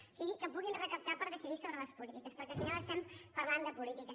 o sigui que puguin recaptar per decidir sobre les polítiques perquè al final estem parlant de política